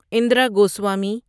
Indira Goswami